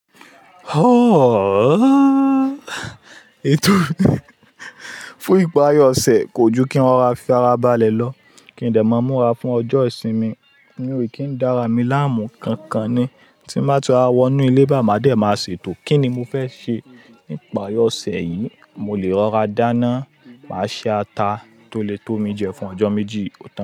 Oh, ètò fún ìparí ọ̀sẹ̀ kò ju kí n rora fì àrà balẹ̀ lọ, kí n dè máa múra fún ọjọ́ ìsinmi. Mi o kí n dára mi láàmú, kankan ni tí n ba ti rora wọnú ilé bá máa dẹ̀ máa ṣètò kíni mo fẹ́ ṣe nípari ọ̀sẹ̀ yìí. Mo lè rọra dáná, màá ṣe ata tó le tó mi jẹ fún ọjọ́ méjì.